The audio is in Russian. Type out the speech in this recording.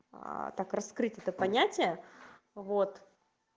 так раскрыто то понятие вот